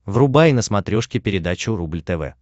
врубай на смотрешке передачу рубль тв